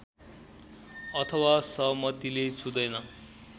अथवा सहमतिले छुँदैन